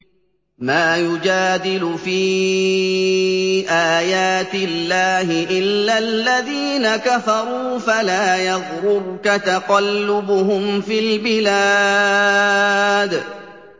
مَا يُجَادِلُ فِي آيَاتِ اللَّهِ إِلَّا الَّذِينَ كَفَرُوا فَلَا يَغْرُرْكَ تَقَلُّبُهُمْ فِي الْبِلَادِ